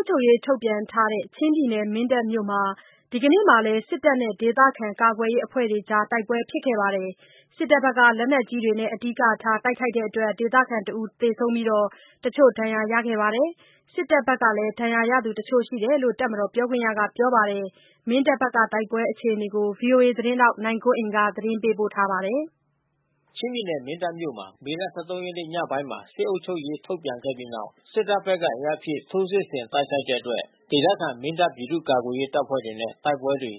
ပ်ချုပ်ရေး ထုတ်ပြန်ထားတဲ့ မင်းတပ်မြို့နယ်မှာ ဒီနေ့လည်း စစ်တပ်နဲ့ ဒေသခံကာကွယ်ရေးအဖွဲ့တွေကြား တိုက်ပွဲဖြစ်ပါတယ်။ စစ်တပ်ဘက်က လက်နက်ကြီးတွေနဲ့ အဓိကထား တိုက်ခိုက်တဲ့အတွက် ဒေသခံတဦး သေဆုံးပြီး တချို့ ဒဏ်ရာရခဲ့ပါတယ်။ စစ်တပ်ဘက်မှာလည်း ဒဏ်ရာရသူတချို့ရှိတယ်လို့ တပ်မတော်ပြောခွင့်ရကပြောပါတယ်။ မင်းတပ်ဘက်ကတိုက်ပွဲ အခြေအနေကို ဗွီအိုအေသတင်းထောက် နိုင်ကွန်းအိန်က သတင်းပေးပို့ထားပါတယ်။ ချင်းပြည်နယ် မင်းတပ်မြို့နယ်မှာ မေလ ၁၃ ရက်နေ့ညပိုင်းက စစ်အုပ်ချုပ်ရေး ထုတ်ပြန်ခဲ့ပြီးနောက် စစ်တပ်ဘက်က အင်အားဖြည့် ထိုးစစ်ဆင်တိုက်ခိုက်တဲ့အတွက် ဒေသခံ မင်းတပ် ပြည်သူ့ကာကွယ်ရေးအဖွဲ့တွေနဲ့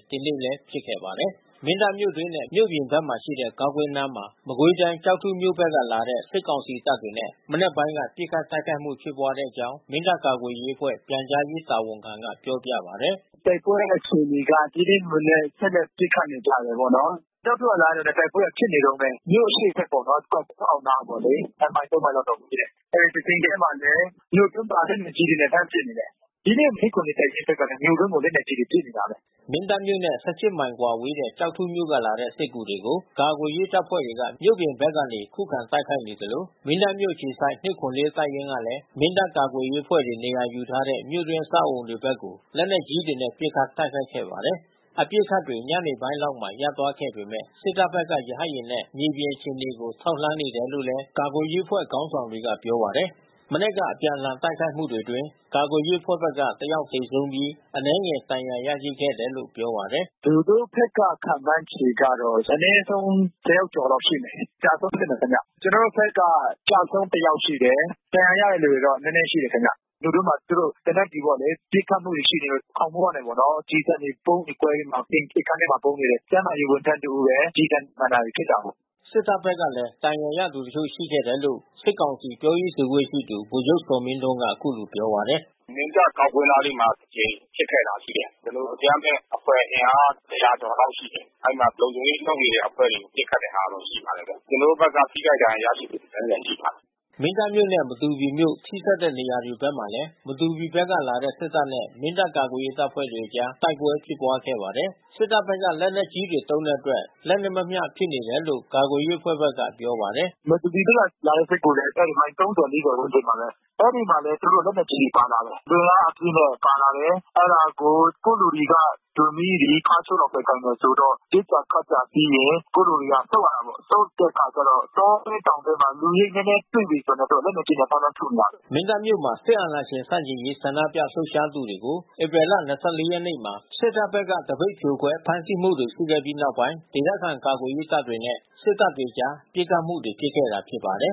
ဒီနေ့လည်း တိုက်ပွဲဖြစ်ပါတယ်။ မင်းတပ်မြို့တွင်းနဲ့ မြို့အပြင်ဘက်မှာရှိတဲ့ ဂေါက်ကွင်းနားမှာ မကွေးတိုင်း ကျောက်ထုမြို့ဘက်ကလာတဲ့ စစ်ကောင်စီတပ်တွေနဲ့မနက်ပိုင်းက ပစ်ခတ်တိုက်ခိုက်မှုဖြစ်ပွားခဲ့တဲ့အကြောင်း မင်းတပ်ကာကွယ်ရေးအဖွဲ့ပြန်ကြားရေးတာဝန်ခံက ပြောပြပါတယ်။ "တိုက်ပွဲအခြေအနေကတော့ ဒီနေ့မှာလည်း ဆက်လက်ပစ်ခတ်နေကြတာပေါ့နော်။ ကျောက်ထုကလာတယ်။ တိုက်ပွဲက ဖြစ်နေတုန်းပဲ။ မြို့အရှေ့ဘက်ပေါ့နော် ဂေါက်ကွင်းအောက်နားက။ ၂ မိုင် ၃ မိုင်လောက်တော့ဝေးတယ်။ တချိန်ထဲမှာပဲ မြို့တွင်းမှာ လက်နက်ကြီးတွေနဲ့လှမ်းပစ်နေတယ်။ ဒီနေ့ ၂၇၄ တပ်ရင်းဘက်ကလည်း မြို့တွင်းကို လက်နက်ကြီးတွေနဲ့ပစ်နေတာပဲ။" မင်းတပ်မြို့နဲ့ ၁၈ မိုင်ကွာဝေးတဲ့ ကျောက်ထုမြို့ကလာတဲ့ စစ်ကူတွေကို ကာကွယ်ရေးအဖွဲ့တွေက မြို့အပြင်ဘက်ကနေ ခုခံတိုက်ခိုက်နေသလို မင်းတပ်မြို့ အခြေစိုက် ၂၇၄ တပ်ရင်းကလည်း မင်းတပ်ကာကွယ်ရေးအဖွဲ့တွေနေရာယူထားတဲ မြို့တွင်းအဆောက်အဦးဘက်ကို လက်နက်ကြီးတွေနဲ့ ပစ်ခတ် တိုက်ခိုက်ခဲ့ပါတယ်။ အပစ်အခတ်တွေ ညနေပိုင်းလောက်မှာ ရပ်သွားခဲ့ပေမဲ့ စစ်တပ်ဖက်က ရဟတ်ယာဉ်နဲ့ မြေပြင်အခြေအနေကို ထောက်လှမ်းနေတယ်လို့လည်း ကာကွယ်ရေးအဖွဲ့ခေါင်းဆောင်တွေက ပြောပါတယ်။ မနက်က အပြန်အလှန်တိုက်ခိုက်မှုတွေအတွင်း ကာကွယ်ရေးအဖွဲ့ဘက်က ၁ ယောက်သေဆုံးပြီး ဒဏ်ရာရသူ အနည်းငယ်ရှိခဲ့တယ်လို့ ပြောပါတယ်။ "သူတို့ဘက်က ခန့်မှန်းခြေကတော့ အနဲဆုံး ၁၀ ယောက်ကျော်လောက်ရှိမယ်။ အကျဆုံးဖြစ်မယ်ခင်ဗျ။ ကျွန်တော်တို့ဘက်က အကျဆုံး ၁ ယောက်ရှိမယ်။ ဒဏ်ရာရတဲ့သူက နည်းနည်းရှိတယ်ခင်ဗျ။ မြို့တွင်းမှာသူတို့သေနတ်ကျည်ပေါ့လေ ပစ်ခတ်မှုတွေရှိနေတော့ ခေါင်မိုးကနေပြီးတော့ ကျည်ဆံတွေဗုံးတွေကွဲပြီးမှ အိမ်ရှေ့ခန်းထဲမှာပုန်းနေတဲ့ ကျန်းမာရေးဝန်ထမ်းတဦးပဲ။ ကျည်ဆံမှန်တာ တွေဖြစ်တာပေါ့။" စစ်တပ်ဘက်ကလည်း ဒဏ်ရာရသူတချို့ရှိတယ်လို့ စစ်ကောင်စီ ပြောရေးဆိုခွင့်ရှိသူ ဗိုလ်ချုပ်ဇော်မင်းထွန်းက ပြောပါတယ်။ "မင်းတပ်ဂေါက်ကွင်းနားလေးမှ ာတကြိမ်ဖြစ်ပွါးခဲ့တာရှိတယ်။ ကျနော်တို့ အကြမ်းဖက်အဖွဲ့အင်အား ၁၀၀ ကျော်လောက်ရှိ တယ်။ အဲဒီမှာလုံခြုံရေးလုပ်နေတဲ့အဖွဲ့တွေ ပစ်ခတ်တဲ့ဟာတော့ရှိပါတယ်ဗျ။ ကျွန်တော်တို့ဘက်က ထိခိုက်ဒဏ်ရာရရှိမှု အနည်းငယ် ရှိပါတယ်။" မင်းတပ်မြို့နဲ့ မတူပီမြို့ထိဆက်နေတဲ့ နေရာဘက်မှာလည်း မတူပီဖဘက်ကလာတဲ့ စစ်တပ်နဲ့ မင်းတပ်ကာကွယ်ရေးအဖွဲ့တွေကြား တိုက်ပွဲတွေဖြစ်ခဲ့ပါတယ်။ စစ်တပ်ဘက်က လက်နက်ကြီးတွေသုံးတဲ့အတွက် လက်နက်မမ ျှဖြစ်နေတယ်လို့ ကာကွယ်ရေးအဖွဲ့ဘက်ကပြောပါတယ်။ "မတူပီဘက်ကလာတဲ့စစ်ကူတွေ အဲဒီမိုင် ၃၀၊ ၄၀ ဝန်းကျင်မှာပဲ။ အဲဒီမှာလည်း သူတို့လက်နက်ကြီးတွေပါလာတယ်။ လူအင်အား အပြည့်နဲ့ပါလာတယ်။ အဲတာကို ကိုယ့်လူတွေက တူမီးတွေ ခါးချိုးတွေလောက်ပဲ ကိုင်တယ်ဆိုတော့ ပစ်တာခတ်တာပြီးရင် ကိုယ့်လူတွေက ဆုတ်ရတာပေါ့။ ဆုတ်တဲ့အခါမှာကျတော့ တောထဲတောင်ထဲမှာ လူရိပ် နည်းနည်းတွေ့ပြီဆိုတာနဲ့ လက်နက်ကြီးနဲ့ လှမ်းလှမ်းထုနေကြတယ်။" မင်းတပ်မြို့မှ ာစစ်အာဏာရှင်ဆန့်ကျင်ရေး ဆန္ဒပြလှုပ်ရှားသူတွေကို ဧပြီလ ၂၄ ရက်နေ့မှာ စစ်တပ်ဘက်က သပိတ်ဖြိုခွဲ ဖမ်းဆီးမှုတွေ ရှိခဲ့ပြီးနောက်ပိုင်း ဒေသခံကာကွယ်ရေးတပ်တွေနဲ့ စစ်တပ်ကြား ပစ်ခတ်မှုတွေ ဖြစ်ခဲ့တာပါ။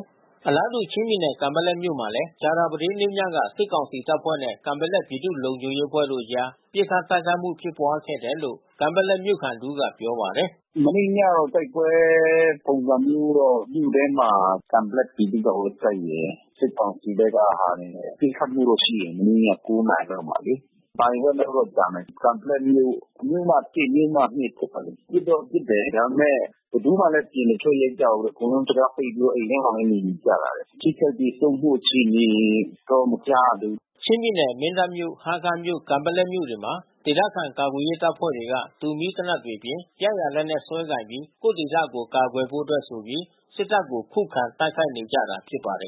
အလားတူ ချင်းပြည်နယ် ကန်ပက်လက်မြို့မှာလည်း ကြာသပတေးနေ့ညက စစ်ကောင်စီတပ်ဖွဲ့နဲ့ကန်ပက်လက်ပြည်သူ့လုံခြုံရေးအဖွဲ့တို့အကြား ပစ်ခတ်တိုက်ခိုက်ခဲ့တယ်လို့ ကန်ပက်လက်မြို့ခံတဦးကပြောပါတယ်။ "မနေ့ညက တိုက်ပွဲပုံစံမျိုးတော့ မြို့ထဲမှာ ကန်ပက်လက်ပြည်သူ့ကာကွယ်ရေးတပ်ရယ်၊ စစ်ကောင်စီဘက်ကဟာတွေနဲ့ ပစ်ခတ်မှုတော့ရှိတယ်။ မနေ့ည ၉ နာရီလောက်မှာလေ။ နာရီဝက်လောက်တော့ကြာမယ်။ ကန်ပက်လက်မြို့ မြို့မ မြို့မ ရပ်ကွက်မှာလေ။ ပစ်တော့ပစ်တယ် ဒါပေမဲ့ဘယ်သူမှလည်း အပြင်မထွက်ရဲကြဘူးလေ။ အကုန်လုံး တံခါးပိတ်ပြီးတော့အိမ်ထဲမှာပဲ နေနေကြ တယ်။ ထိခိုက်သေဆုံးမှုအခြေအနေတော့ မကြားရသေးဘူး။" ချင်းပြည်နယ် မင်းတပ်မြို့၊ ဟားခါးမြို့၊ ကန်ပက်လက်မြို့တွေမှာ ဒေသခံကာကွယ်ရေးအဖွဲ့တွေက တူမီးသေနတ်တွေအပြင် ရရာလက်နက်စွဲကိုင်ပြီး ကိုယ့်ဒေသကို ကာကွယ်ဖို့အတွက်ဆိုပြီး စစ်တပ်ကို ခုခံတိုက်နေကြတာဖြစ်ပါတယ်